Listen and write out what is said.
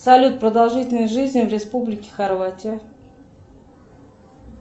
салют продолжительность жизни в республике хорватия